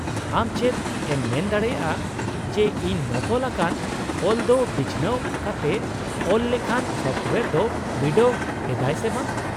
ᱟᱢ ᱪᱮᱫ ᱮᱢ ᱢᱮᱱ ᱫᱟᱲᱮᱭᱟᱜᱼᱟ ᱡᱮ ᱤᱧ ᱱᱚᱠᱚᱞ ᱟᱠᱟᱱ ᱚᱞ ᱫᱚ ᱵᱤᱪᱷᱱᱟᱣ ᱠᱟᱛᱮ ᱚᱞ ᱞᱮᱠᱷᱟᱱ ᱥᱚᱯᱷᱴᱳᱭᱟᱨ ᱫᱚ ᱵᱤᱰᱟᱹᱣ ᱮᱫᱟᱭ ᱥᱮ ᱵᱟᱝ ?